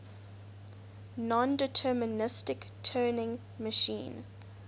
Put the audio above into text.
nondeterministic turing machine